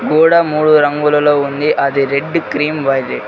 గోడ మూడు రంగులలో ఉంది అది రెడ్డు క్రీమ్ .